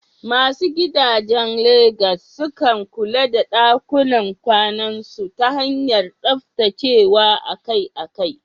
Masu gidajen Legas sukan kula da ɗakunan kwanansu ta hanyar tsaftacewa akai-akai.